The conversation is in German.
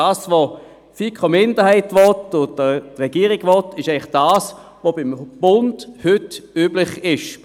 Was die FiKoMinderheit und die Regierung wollen, ist das, was beim Bund heute üblich ist.